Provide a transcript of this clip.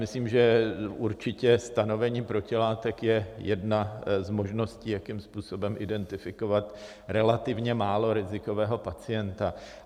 Myslím, že určitě stanovení protilátek je jedna z možností, jakým způsobem identifikovat relativně málo rizikového pacienta.